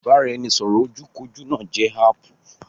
Ibaraẹnisọrọ ojú kojú náà jẹ́ áàpù